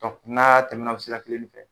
Ka kunaya tɛmɛna o sira kelen in fɛ